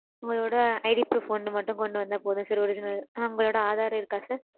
உங்களோட IDproof ஒன்னு மட்டும் கொண்டு வந்தா போதும் sir original. உங்களோட Aadhar இருக்கா sir?